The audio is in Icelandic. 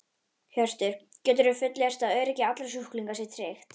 Hjörtur: Geturðu fullyrt að öryggi allra sjúklinga sé tryggt?